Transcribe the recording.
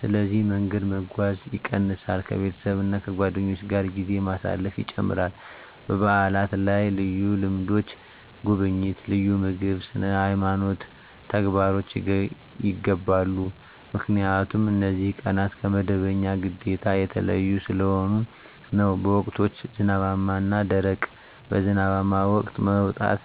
ስለዚህ መንገድ መጓጓዝ ይቀንሳል ከቤተሰብ እና ከጓደኞች ጋር ጊዜ ማሳለፍ ይጨምራል በዓላት ላይ ልዩ ልምዶች (ጉብኝት፣ ልዩ ምግብ፣ ስነ-ሃይማኖት ተግባሮች) ይገባሉ 👉 ምክንያቱም እነዚህ ቀናት ከመደበኛ ግዴታ የተለዩ ስለሆኑ ነው። በወቅቶች (ዝናባማ እና ደረቅ): በዝናባማ ወቅት መውጣት